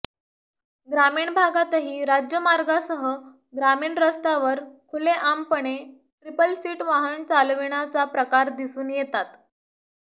ग्रामीण भागातही राज्यमार्गासह ग्रामीण रस्त्यांवर खुलेआमपणे ट्रिपल सीट वाहन चालविण्याचा प्रकार दिसून येतात